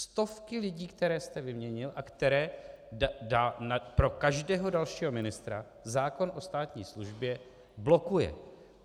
Stovky lidí, které jste vyměnil a které pro každého dalšího ministra zákon o státní službě blokuje.